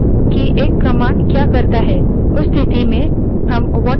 कभीकभी हमें अधिक विवरण की ज़रूरत नहीं होती हमें सिर्फ ये जानना होता है कि command क्या करती है